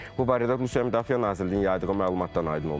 Bu barədə Rusiya Müdafiə Nazirliyinin yaydığı məlumatdan aydın olur.